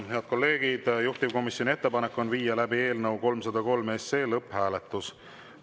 Head kolleegid, juhtivkomisjoni ettepanek on viia läbi eelnõu 303 lõpphääletus.